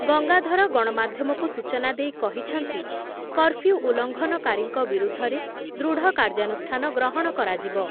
ଗଙ୍ଗାଧର ଗଣମାଧ୍ୟମକୁ ସୂଚନା ଦେଇ କ‌ହିଛନ୍ତି କର୍ଫ୍ଯୁ ଉଲଂଘନକାରୀଙ୍କ ବିରୁଦ୍ଧରେ ଦୃଢ଼ କାର୍ଯ୍ୟାନୁଷ୍ଠାନ ଗ୍ରହଣ କରାଯିବ।